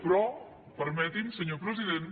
però permeti’m senyor president